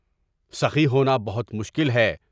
سخی ہونا بہت مشکل ہے۔